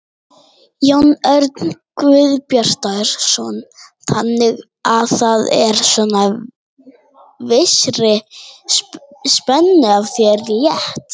Jón Örn Guðbjartsson: Þannig að það er svona vissri spennu af þér létt?